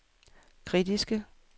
kritiske